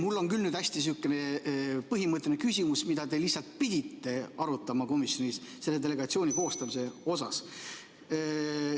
Mul on nüüd küll sihukene hästi põhimõtteline küsimus, mida te lihtsalt pidite arutama komisjonis selle delegatsiooni koostamise puhul.